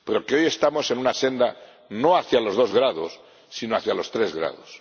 hoy estamos en una senda no hacia los dos grados sino hacia los tres grados.